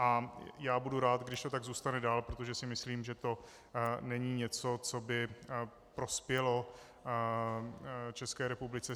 A já budu rád, když to tak zůstane dále, protože si myslím, že to není něco, co by prospělo České republice.